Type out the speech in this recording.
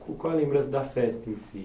Qual é a lembrança da festa em si?